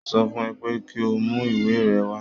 Mo sọ fún ẹ pé kí o mú ìwé rẹ wá